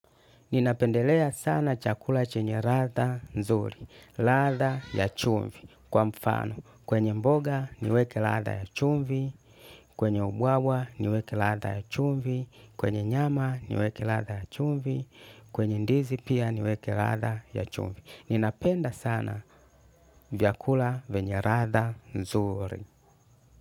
Ninapendelea sana chakula chenye ladha nzuri, ladha ya chumvi kwa mfano, kwenye mboga niweke ladha ya chumvi, kwenye ubwawa niweke ladha ya chumvi, kwenye nyama niweke ladha ya chumvi, kwenye ndizi pia niweke ladha ya chumvi. Ninapenda sana vyakula venye ladha nzuri.